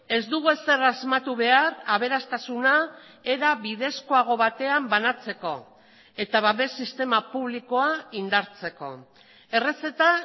ez dugu ezer asmatu behar aberastasuna era bidezkoago batean banatzeko eta babes sistema publikoa indartzeko errezeta